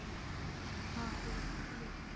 हा बोल.